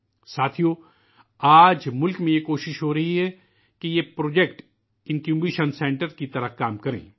ساتھیو، آج ملک میں یہ کوشش ہو رہی ہے کہ یہ پروجیکٹ انکیوبیشن سینٹرز کے طور پر کام کریں